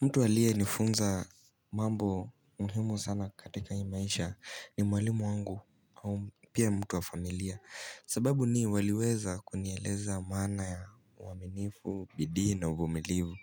Mtu aliye nifunza mambo muhimu sana katika hii maisha ni mwalimu wangu pia mtu wa familia. Sababu ni waliweza kunieleza maana ya uaminifu, bidii na uvumilivu.